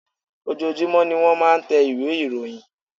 Ojoojumọ ní wọ́n máà ń tẹ ìwé ìròyìn.